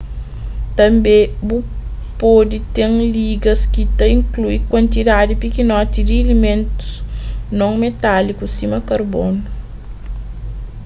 tanbê bu pode ten ligas ki ta inklui kuantidadi pikinoti di ilimentus non metáliku sima karbonu